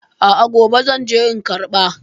A a, gobe zan je in karɓa.